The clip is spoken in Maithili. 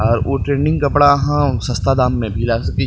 आ ऊ ट्रेंडिंग कपड़ा आहां सस्ता दाम में भी लाय सके छी।